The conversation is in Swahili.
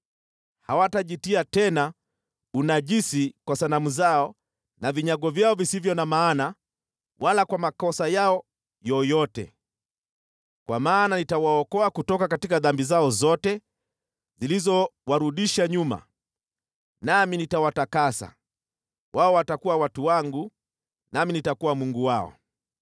Hawatajitia tena unajisi kwa sanamu zao na vinyago vyao visivyo na maana wala kwa makosa yao yoyote, kwa maana nitawaokoa kutoka dhambi zao zote zilizowarudisha nyuma, nami nitawatakasa. Wao watakuwa watu wangu, nami nitakuwa Mungu wao.